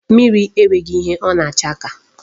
Mmiri e nweghị ihe ọ na-acha ka ya.